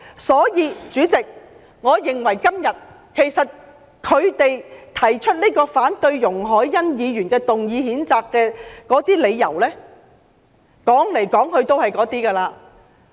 因此，主席，我認為他們今天所提出反對容海恩議員動議譴責議案的理由，來來去去也是那些。